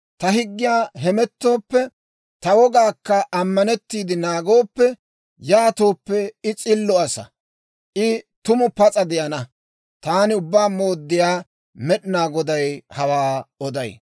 ta higgiyan hemettooppe, ta wogaakka ammanetiide naagooppe, yaatooppe, I s'illo asaa, I tumu pas'a de'ana. Taani Ubbaa Mooddiyaa Med'inaa Goday hawaa oday.